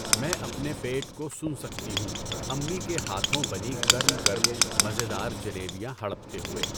میں اپنے پیٹ کو سن سکتی ہوں امّی کے ہاتھوں بنی گرم گرم مزیدار جلیبیاں ہڑپتے ہوئے!